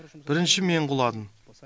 бірінші мен құладым